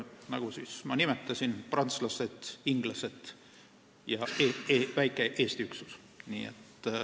Nagu ma nimetasin: prantslased, inglased ja väike Eesti üksus.